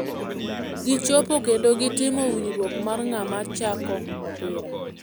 Gichopo kendo gi timo winjruok mar ng'ama chako opira.